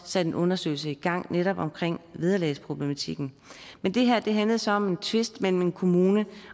satte en undersøgelse i gang netop omkring vederlagsproblematikken men det her handlede så om en tvist mellem en kommune